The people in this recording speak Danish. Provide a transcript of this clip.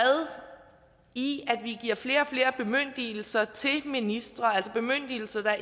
i at vi giver flere og flere bemyndigelser til ministre altså bemyndigelser